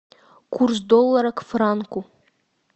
курс доллара к франку